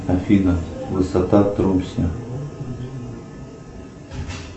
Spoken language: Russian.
афина высота трусня